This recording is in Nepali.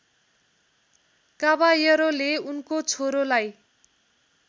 काबाएरोले उनको छोरोलाई